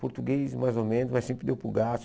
Português, mais ou menos, mas sempre deu para o gasto.